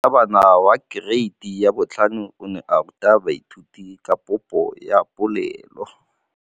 Moratabana wa kereiti ya 5 o ne a ruta baithuti ka popô ya polelô.